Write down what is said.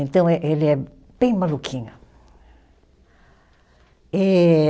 Então, eh ele é bem maluquinho. Eh